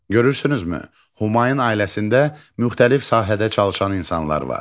Görürsünüzmü, Humayın ailəsində müxtəlif sahədə çalışan insanlar var.